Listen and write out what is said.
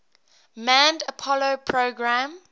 manned apollo program